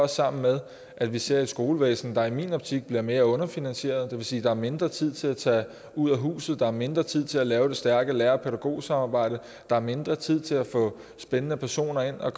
sammen med at vi ser et skolevæsen der i min optik bliver mere underfinansieret og det vil sige at der er mindre tid til at tage ud af huset der er mindre tid til at lave det stærke lærer pædagog samarbejde der er mindre tid til at få spændende personer ind og